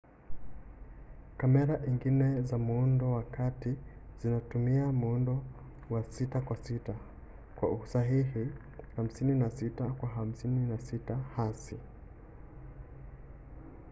kamera ingine za muundo wa kati zinatumia muundo wa 6 kwa 6 kwa usahihi 56 kwa 56 hasi